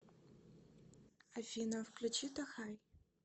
афина включи тохай